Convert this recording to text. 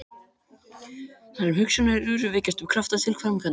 Þar sem hugsjónir eru, vekjast upp kraftar til framkvæmda.